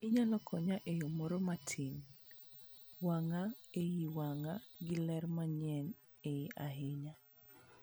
Inyalo konya e yo moro matin. Wang'a iye wang'a gi ler mang'eny ahinya.